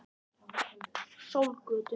Sólgötu